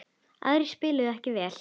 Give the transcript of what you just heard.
Aðrir spiluðu ekki vel.